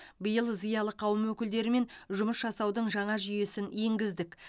биыл зиялы қауым өкілдерімен жұмыс жасаудың жаңа жүйесін енгіздік